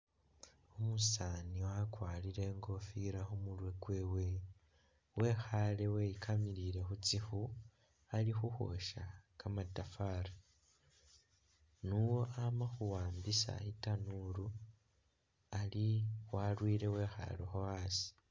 Umusaani wakwarile ikofila khumurwe kwewe wekhale weyikamilile khutsikhu ali khukhwosha kamatafali nio amakhuwambisa itanuulu ali walwiile wekhalokho asi